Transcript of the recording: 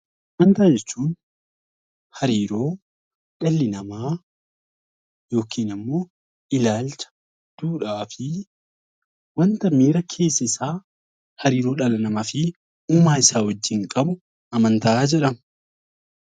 Amantaa jechuun hariiroo dhalli namaa yookaan immoo ilaalcha wanta miira keessa isaa namaa fi uumaa isaa wajjin qabu amantaa jedhama